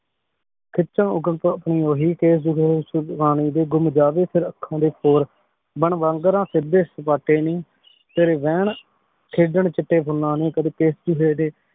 ਖਿਚਣ ਓਹੀ ਕੇਸ਼ ਜੂਹੇ ਵਿੱਚੋ ਵਾਨੀ ਦੇ ਗੁਮ ਜਾਵੇ ਫੇਰ ਅਖਾਂ ਦੇ ਹੋਰ ਬਣ ਵਾਂਗਰਾਂ ਫਿਰਦੇ ਸਪਾਟੇ ਨੀ ਤੇਰੀ ਰਹਨ ਖੇਡਣ ਚਿਟੇ ਫੁਲਾਂ ਨੂ ਕਦੀ ਕੇਸ਼ ਜੂਹੇ ਦੇ